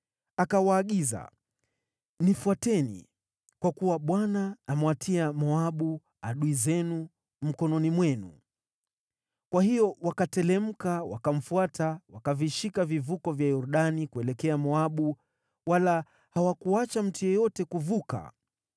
Akawaagiza, “Nifuateni, kwa kuwa Bwana amewatia Moabu, adui zenu, mikononi mwenu.” Kwa hiyo wakateremka wakamfuata, wakavishika vivuko vya Yordani kuelekea Moabu, wala hawakuacha mtu yeyote kuvuka.